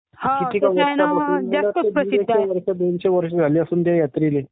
Sound Overlapping दोनशे वर्ष झाले असतील..त्या यात्रेल्ये